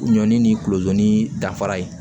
Ɲɔ ni kulodon ni danfara ye